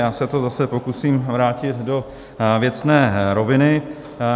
Já se to zase pokusím vrátit do věcné roviny.